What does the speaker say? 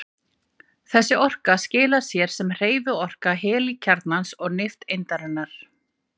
Þessi orka skilar sér sem hreyfiorka helínkjarnans og nifteindarinnar.